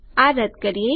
ચાલો આ રદ્દ કરીએ